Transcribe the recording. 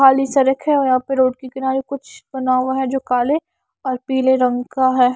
खाली सरक है और यहां पर रोड के किनारे कुछ बना हुआ है जो काले और पीले रंग का है।